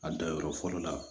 A danyɔrɔ fɔlɔ la